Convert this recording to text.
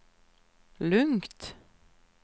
lugnt